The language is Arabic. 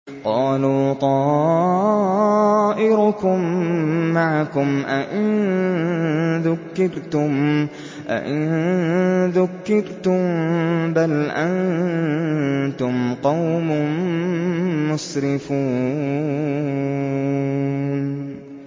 قَالُوا طَائِرُكُم مَّعَكُمْ ۚ أَئِن ذُكِّرْتُم ۚ بَلْ أَنتُمْ قَوْمٌ مُّسْرِفُونَ